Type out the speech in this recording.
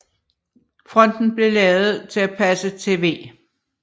Fonten blev lavet til at passe til v